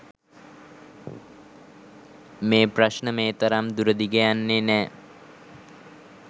මේ ප්‍රශ්න මේ තරම් දුරදිග යන්නෙ නෑ